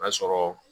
Ka sɔrɔ